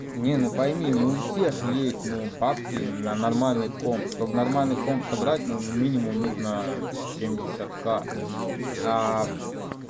нет ну пойми не у всех есть ну бабки на нормальный комп чтобы нормальный комп собрать ну минимум нужно семьдесят ка